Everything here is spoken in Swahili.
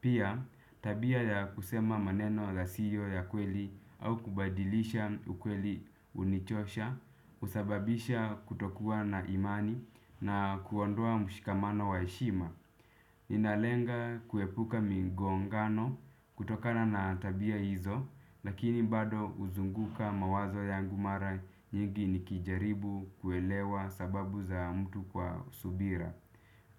Pia tabia ya kusema maneno zasio ya kweli au kubadilisha ukweli unichosha. Usababisha kutokuwa na imani na kuondoa mshikamano wa heshima. Ninalenga kuepuka migongano kutokana na tabia hizo lakini bado uzunguka mawazo yangu mara nyingi nikijaribu kuelewa sababu za mtu kwa subira.